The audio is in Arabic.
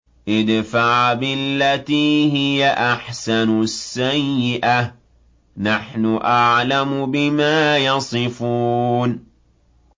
ادْفَعْ بِالَّتِي هِيَ أَحْسَنُ السَّيِّئَةَ ۚ نَحْنُ أَعْلَمُ بِمَا يَصِفُونَ